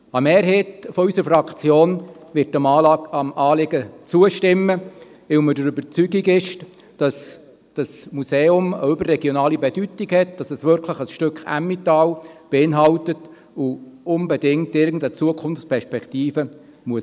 Eine Mehrheit unserer Fraktion wird dem Anliegen zustimmen, weil sie der Überzeugung ist, dass dieses Museum eine überregionale Bedeutung hat, dass es wirklich ein Stück Emmental beinhaltet und unbedingt irgendeine Zukunftsperspektive haben muss.